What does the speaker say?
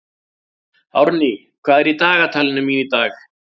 Árný, hvað er í dagatalinu mínu í dag?